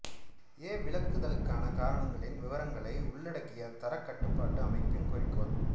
எ விலக்குதலுக்கான காரணங்களின் விவரங்களை உள்ளடக்கிய தரக் கட்டுப்பாட்டு அமைப்பின் குறிக்கோள்